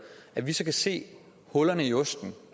at det kan se hullerne i osten